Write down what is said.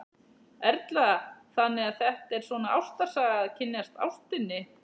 Erla: Þannig að þetta er svona ástarsaga, að kynnast ástinni?